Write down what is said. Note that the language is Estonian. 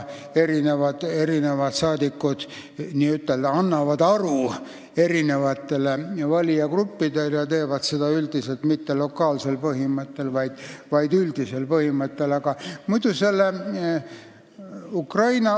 Eri saadikud n-ö annavad aru erinevatele valijagruppidele ja teevad seda üldiselt mitte lokaalsel põhimõttel, vaid üle-eestiliselt.